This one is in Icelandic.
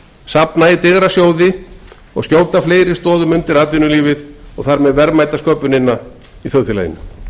safna í digra sjóði og skjóta fleiri stoðum undir atvinnulífið og þar með verðmætasköpunina í þjóðfélaginu